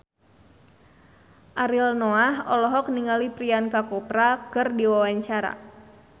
Ariel Noah olohok ningali Priyanka Chopra keur diwawancara